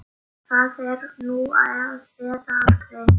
Það er nú eða aldrei.